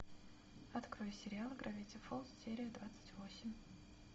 открой сериал гравити фолз серия двадцать восемь